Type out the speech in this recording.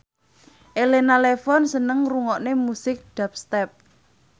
Elena Levon seneng ngrungokne musik dubstep